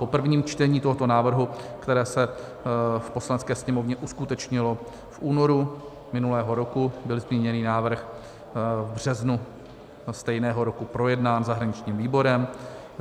Po prvním čtení tohoto návrhu, které se v Poslanecké sněmovně uskutečnilo v únoru minulého ruku, byl zmíněný návrh v březnu stejného roku projednán zahraničním výborem.